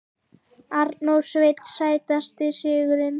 Arnór Sveinn Sætasti sigurinn?